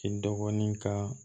I dɔgɔnin ka